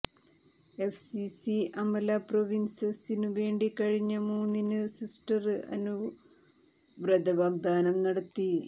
FCC Amala പ്രോവിന്സിനു വേണ്ടി കഴിഞ്ഞ മൂന്നിനു സിസ്റ്റര് അനു വ്രതവാഗ്ദാനം നടത്തി